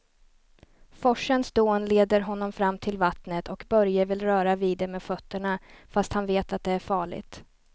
Forsens dån leder honom fram till vattnet och Börje vill röra vid det med fötterna, fast han vet att det är farligt.